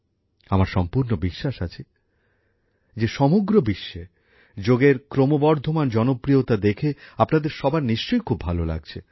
আমার সম্পূর্ণ বিশ্বাস আছে যে সমগ্র বিশ্বে যোগের ক্রমবর্ধমান জনপ্রিয়তা দেখে আপনাদের সবার নিশ্চয় খুব ভালো লাগছে